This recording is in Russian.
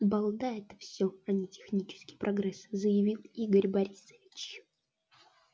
балда это всё а не технический прогресс заявил игорь борисович